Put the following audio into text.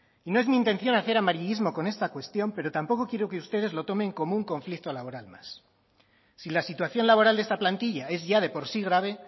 no es mi intención hacer amarillismo con esta cuestión pero tampoco quiero que ustedes lo tomen como un conflicto laboral más si la situación laboral de esta plantilla es ya de por sí grave